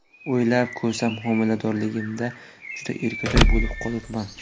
O‘ylab ko‘rsam, homiladorligimda juda erkatoy bo‘lib qolibman.